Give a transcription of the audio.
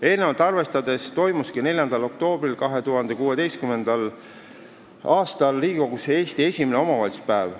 Eelnevat arvestades toimuski 4. oktoobril 2016. aastal Riigikogus Eesti esimene omavalitsuspäev.